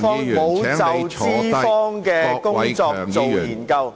但沒有就資方的工作進行研究......